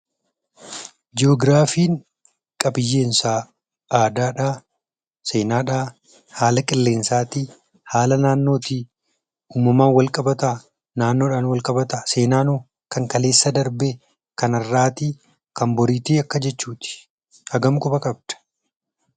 Jiyoogiraafiin qabiyyeen isaa aadaadhaa? Seenaadhaa? Haala qilleensaatii? Haala naannootii? Uumamaan walqabataa? Naannoodhaan walqabataa?, Seenaan hoo? Kan kaleessa darbee? Kan har'aatii? Kan boriitii? Akka jechuu ti. Hagam quba qabda?